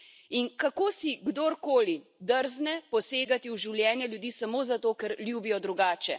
In kako si kdorkoli drzne posegati v življenje ljudi samo zato, ker ljubijo drugače.